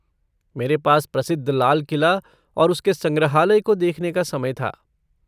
मेरे पास प्रसिद्ध लाल किला और उसके संग्रहालय को देखने का समय था।